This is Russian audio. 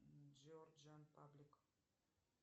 джорджа паблик